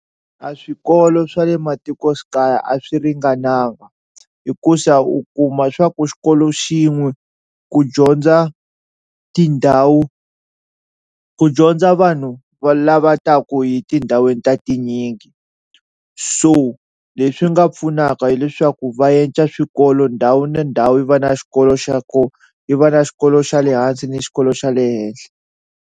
A swikolo swa le matikoxikaya a swi ringananga hikuza u kuma swa ku xikolo xin'we ku dyondza tindhawu ku dyondza vanhu va lava taku hi tindhawini ta tinyingi, so leswi nga pfunaka hileswaku va yenca swikolo ndhawu ni ndhawu yi va na xikolo xa koho, yi va na xikolo xa le hansi ni xikolo xa le henhla.